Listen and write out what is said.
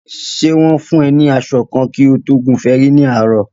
Ṣè wọ̀n fùn e ní aṣọ kan kí o tó gùn fẹrí ní àárò?